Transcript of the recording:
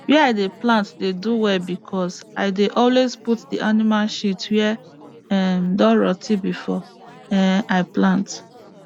where i dey plant dey do well because i dey always put the animal shit wey um don rot ten before um i plant